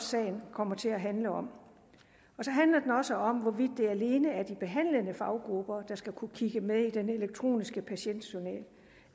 sagen kommer til at handle om så handler den også om hvorvidt det alene er de behandlende faggrupper der skal kunne kigge med i den elektroniske patientjournal og